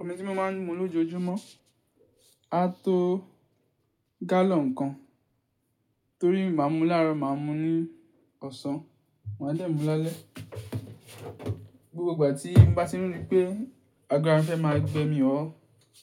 Omi tí mo máa ń mu lójoojúmọ́ á tó gálọ̀n kan, torí máa ń mu láàrọ̀, máa ń mu ní ọ̀sán, maa dẹ̀ mú lálẹ́. Gbogbo ìgbà tí mo bá ti rí i pé àgọ́ ara mi fẹ́ máa gbe mi ọ́,